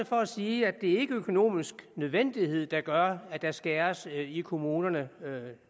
for at sige at det ikke er økonomisk nødvendighed der gør at der skæres i kommunerne